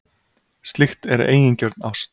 Slíkt er eigingjörn ást.